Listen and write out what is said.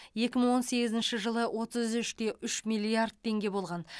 екі мың он сегізінші жылы отыз үште үш миллиард теңге болған